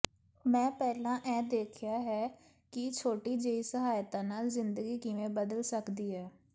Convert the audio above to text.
ਮੈਂ ਪਹਿਲਾਂ ਇਹ ਦੇਖਿਆ ਹੈ ਕਿ ਛੋਟੀ ਜਿਹੀ ਸਹਾਇਤਾ ਨਾਲ ਜ਼ਿੰਦਗੀ ਕਿਵੇਂ ਬਦਲ ਸਕਦੀ ਹੈ